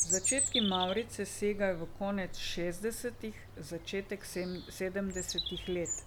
Začetki Mavrice segajo v konec šestdesetih, začetek sedemdesetih let.